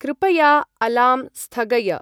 कृपया अलार्म् स्थगय।